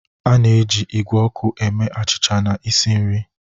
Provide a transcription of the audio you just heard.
A na-eji igwe ọkụ eme achịcha na isi nri.